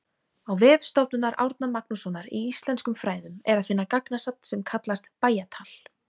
Á vef Stofnunar Árna Magnússonar í íslenskum fræðum er að finna gagnasafn sem kallast Bæjatal.